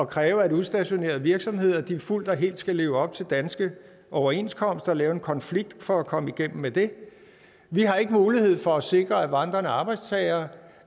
kræve at udstationerede virksomheder fuldt og helt skal leve op til danske overenskomster og lave en konflikt for at komme igennem med det vi har ikke mulighed for at sikre at vandrende arbejdstagere